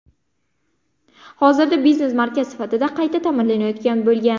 Hozirda biznes markaz sifatida qayta ta’mirlanayotgan bo‘lgan.